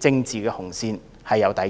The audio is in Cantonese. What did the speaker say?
政治紅線有抵觸。